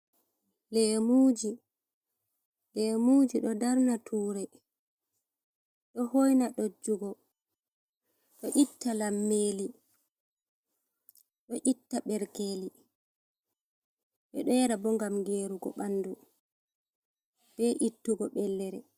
Leemuuji ɗo darna tuure ɗo hoyna ɗojjugo bee itta lammeeli ɗo itta ɓerkeeli ɓe ɗo yara boo ngam geerugo ɓanndu bee ittugo bellere.